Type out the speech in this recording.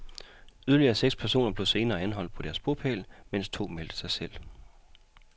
Yderligere seks personer blev senere anholdt på deres bopæl, mens to meldte sig selv.